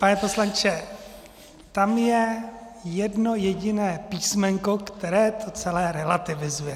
Pane poslanče, tam je jedno jediné písmenko, které to celé relativizuje.